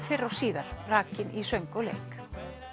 fyrr og síðar rakin í söng og leik